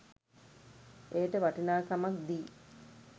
එයට වටිනාකමක් දී